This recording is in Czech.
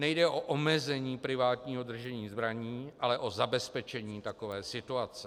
Nejde o omezení privátního držení zbraní, ale o zabezpečení takové situace.